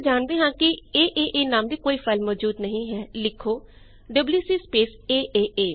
ਕਿਉਂਕਿ ਅਸੀ ਜਾਣਦੇ ਹਾਂ ਕਿ ਏਏਏ ਨਾਮ ਦੀ ਕੋਈ ਫਾਈਲ ਮੌਜੂਦ ਨਹੀਂ ਹੈ ਲਿਖੋ ਡਬਲਯੂਸੀ ਸਪੇਸ aaa